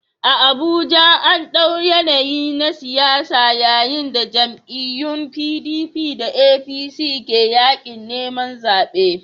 A Abuja, an ɗau yanayi na siyasa yayin da jam'iyyun PDP da APC ke yaƙin neman zaɓe